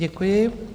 Děkuji.